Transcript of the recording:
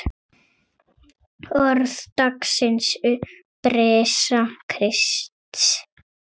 Orð dagsins Upprisa Krists